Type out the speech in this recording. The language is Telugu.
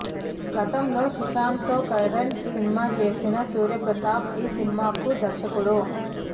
గతంలో సుశాంత్ తో కరెంట్ సినిమా చేసిన సూర్యప్రతాప్ ఈ సినిమాకు దర్శకుడు